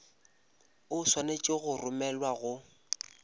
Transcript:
o swanetše go romelwa go